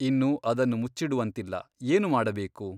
ಇನ್ನು ಅದನ್ನು ಮುಚ್ಚಿಡುವಂತಿಲ್ಲ ಏನು ಮಾಡಬೇಕು?